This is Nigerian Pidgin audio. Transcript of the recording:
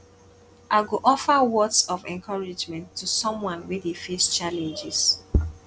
i go offer words of encouragement to someone wey dey face challenges